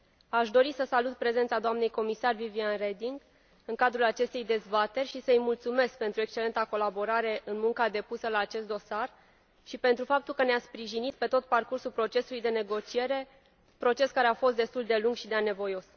Aș dori să salut prezența doamnei comisar Viviane Reding în cadrul acestei dezbateri și să i mulțumesc pentru excelenta colaborare în munca depusă la acest dosar și pentru faptul că ne a sprijinit pe tot parcursul procesului de negociere, proces care a fost destul de lung și de anevoios.